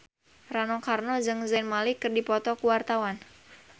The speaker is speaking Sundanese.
Rano Karno jeung Zayn Malik keur dipoto ku wartawan